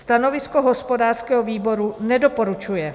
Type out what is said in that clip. Stanovisko hospodářského výboru: nedoporučuje.